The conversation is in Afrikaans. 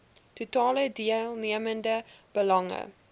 totale deelnemende belange